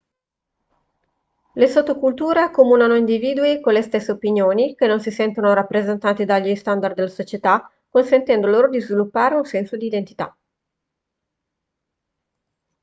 le sottoculture accomunano individui con le stesse opinioni che non si sentono rappresentanti dagli standard della società consentendo loro di sviluppare un senso di identità